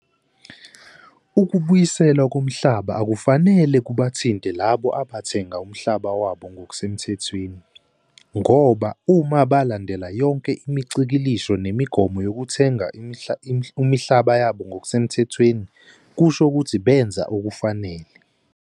Ukubuyisela komhlaba akufanele kubathinta labo abathenga umhlaba wabo ngokusemthethweni, ngoba uma balandela yonke imicikilisho nemigomo yokuthenga umhlaba yabo ngokusemthethweni kusho ukuthi benza okufanele.